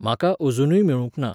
म्हाका अजुनूय मेळूंक ना.